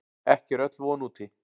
Ekki er öll von úti.